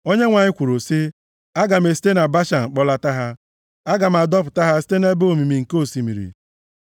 Onyenwe anyị kwuru sị, “Aga m esite na Bashan kpọlata ha, aga m adọpụta ha site nʼebe omimi nke osimiri,